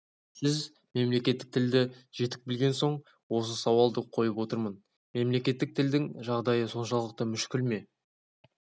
сіз мемлекеттік тілді жетік білген соң осы сауалды қойып отырмын мемлекеттік тілдің жағдайы соншалықты мүшкіл ме